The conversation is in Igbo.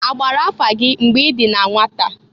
A gbara afa gị mgbe i dị na nwata?